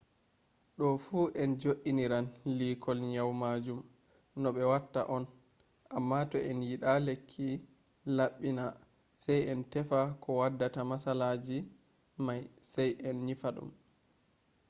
do fu en jo iniran liikol nyau majum no be watta on. amma toh en yida lekki labbina sai en tefa ko waddata matsalaji mai sai en nyifa dum